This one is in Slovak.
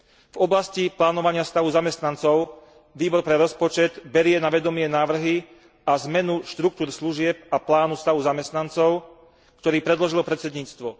V oblasti plánovania stavu zamestnancov Výbor pre rozpočet berie na vedomie návrhy a zmenu štruktúr služieb a plánu stavov zamestnancov, ktorý predložilo predsedníctvo.